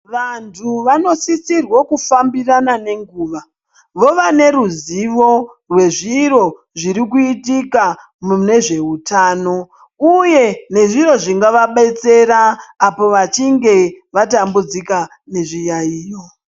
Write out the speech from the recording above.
Vantu vanosisirwo kufambirana nenguva, vova neruzivo rwezviro zviri kuitika mune zveutano, uye nezviro zvingavabetsera apo vachinge vatambudzika nezviyaiyo.